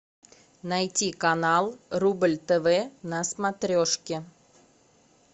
найти канал рубль тв на смотрешке